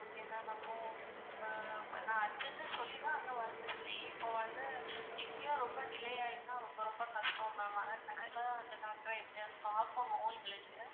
Okay ma'am அப்போ ஆஹ் நான் urgent னு தான் சொல்லி தான் அங்க வந்தன் இப்போ வந்து இங்க ரொம்ப delay ஆயிடுச்சுனா ரொம்ப ரொம்ப கஷ்டம் ma'am பாக்கணும் எங்களுக்கு.